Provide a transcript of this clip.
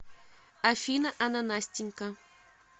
афина ананастенька